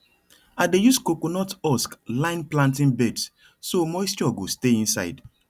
i dey use coconut husk line planting beds so moisture go stay inside